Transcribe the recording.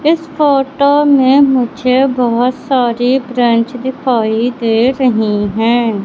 इस फोटो में मुझे बहोत सारी ब्रेंच बेंच दिखाई दे रही है।